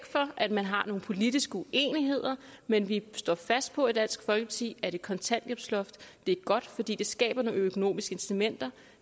for at man har nogle politiske uenigheder men vi står fast på i dansk folkeparti at et kontanthjælpsloft er godt fordi det skaber nogle økonomiske incitamenter